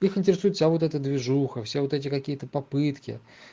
их интересует вся вот эта движуха все вот эти какие-то попытки